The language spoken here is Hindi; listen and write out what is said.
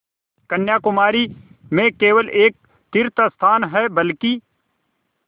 कन्याकुमारी में केवल एक तीर्थस्थान है बल्कि